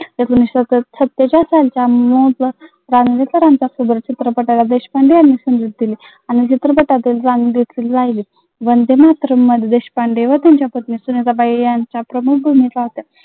एकोणविसशे सत्तेचाळ सालचा प्रमुख भूमिका